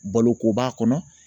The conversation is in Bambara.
Baloko b'a kɔnɔ